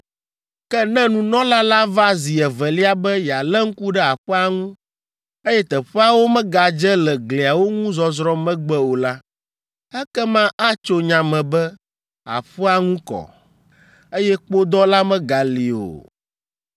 “Ke ne nunɔla la va zi evelia be yealé ŋku ɖe aƒea ŋu, eye teƒeawo megadze le gliawo ŋu zɔzrɔ̃ megbe o la, ekema atso nya me be aƒea ŋu kɔ, eye kpodɔ la megali o.